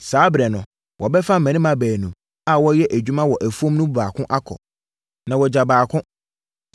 Saa ɛberɛ no, wɔbɛfa mmarima baanu a wɔreyɛ adwuma wɔ afuom no mu baako akɔ, na wɔagya ɔbaako.